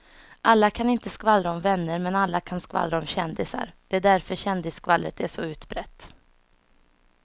Alla kan inte skvallra om vänner men alla kan skvallra om kändisar, det är därför kändisskvallret är så utbrett.